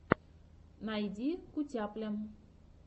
найди кутяпля